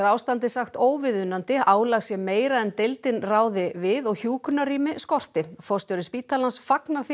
ástandið sé óviðunandi álag sé meira en deildin ræður við og hjúkrunarrými skorti forstjóri spítalans fagnar því